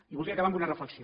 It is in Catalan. i volia acabar amb una reflexió